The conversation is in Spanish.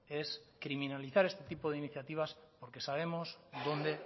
es criminalizar este tipo de iniciativas porque sabemos dónde